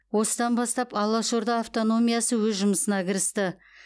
осыдан бастап алаш орда автономиясы өз жұмысына кірісті